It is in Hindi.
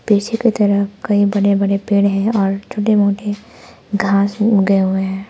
पीछे की तरफ कई बड़े बड़े पेड़ हैं और छोटे मोटे घास उगे हुए हैं।